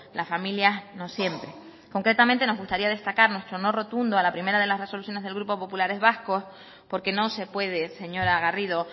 las familias no siempre concretamente nos gustaría destacar nuestro no rotundo a la primera de las resoluciones del grupo populares vascos porque no se puede señora garrido